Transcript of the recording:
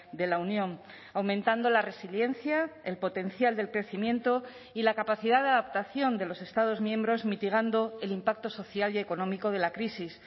de la unión aumentando la resiliencia el potencial del crecimiento y la capacidad de adaptación de los estados miembros mitigando el impacto social y económico de la crisis